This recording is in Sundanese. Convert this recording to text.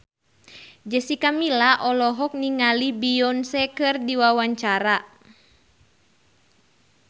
Jessica Milla olohok ningali Beyonce keur diwawancara